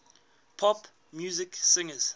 pop music singers